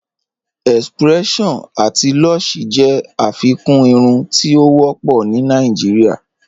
X-pression ati Lush jẹ afikún irùn ti o wọpọ̀ ni Nàìjíríà